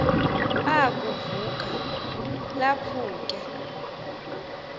ukuv uka laphuke